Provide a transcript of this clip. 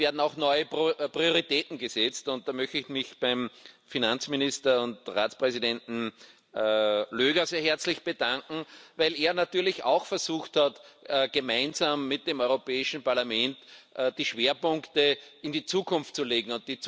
Aber es werden auch neue Prioritäten gesetzt, und da möchte ich mich beim Finanzminister und Ratspräsidenten Löger herzlich bedanken, weil er natürlich auch versucht hat, gemeinsam mit dem Europäischen Parlament die Schwerpunkte in die Zukunft zu legen.